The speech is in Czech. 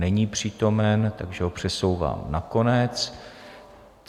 Není přítomen, takže ho přesouvám na konec.